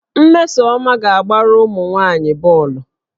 Mmesoma ga-agbara ụmụ nwaanyị bọọlụ